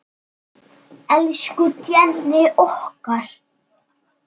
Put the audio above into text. Elsku Jenni okkar.